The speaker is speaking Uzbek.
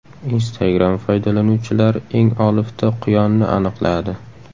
Instagram foydalanuvchilari eng olifta quyonni aniqladi.